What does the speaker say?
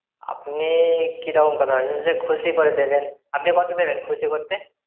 আপনি কিরকম কথা বলছেন যে খুশি করে দেবেন! আপনি কত দেবেন খুশি করতে?